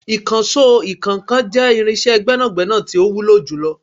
Ìkànsó ìkọ́ńkan jẹ́ irinsé gbẹ́nàgbẹ́nà tí ó wúlò jù lọ